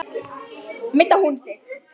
Meiddi hún sig?